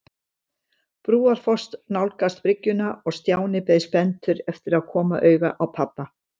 Brúarfoss nálgast bryggjuna og Stjáni beið spenntur eftir að koma auga á pabba.